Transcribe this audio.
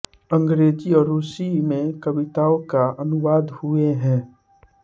अंग्रेज़ी और रूसी में कविताओं के अनुवाद हुये हैं